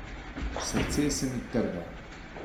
Srce se mi trga.